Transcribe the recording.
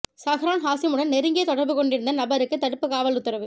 சஹ்ரான் ஹாசீமுடன் நெருங்கிய தொடர்பு கொண்டிருந்த நபருக்கு தடுப்பு காவல் உத்தரவு